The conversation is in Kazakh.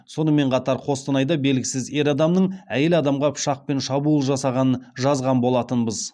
сонымен қатар қостанайда белгісіз ер адамның әйел адамға пышақпен шабуыл жасағанын жазған болатынбыз